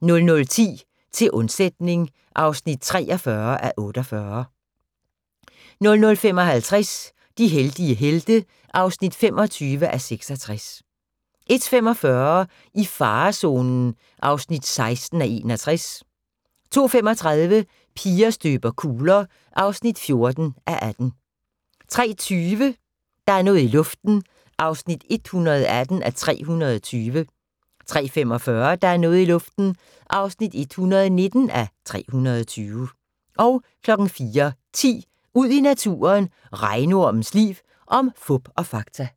00:10: Til undsætning (43:48) 00:55: De heldige helte (25:66) 01:45: I farezonen (16:61) 02:35: Piger støber kugler (14:18) 03:20: Der er noget i luften (118:320) 03:45: Der er noget i luften (119:320) 04:10: Ud i naturen: Regnormens liv – om fup og fakta